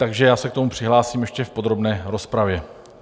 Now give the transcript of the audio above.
Takže já se k tomu přihlásím ještě v podrobné rozpravě.